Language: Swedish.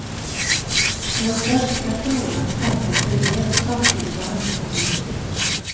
Den svenska kronan stärktes rejält samtidigt som räntan gick ner.